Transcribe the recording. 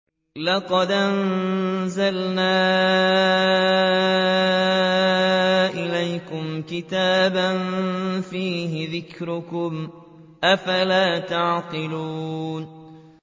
لَقَدْ أَنزَلْنَا إِلَيْكُمْ كِتَابًا فِيهِ ذِكْرُكُمْ ۖ أَفَلَا تَعْقِلُونَ